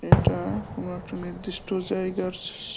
এটা কোনো একটা নির্দিষ্ট জায়গার স স--